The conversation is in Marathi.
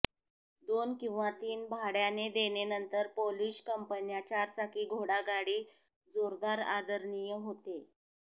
दोन किंवा तीन भाड्याने देणे नंतर पोलिश कंपन्या चारचाकी घोडागाडी जोरदार आदरणीय होते